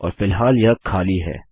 और फिलहाल यह खाली है